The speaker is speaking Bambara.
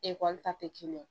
Ekɔli ta tɛ